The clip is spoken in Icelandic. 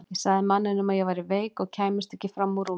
Ég sagði manninum að ég væri veik og kæmist ekki fram úr rúminu.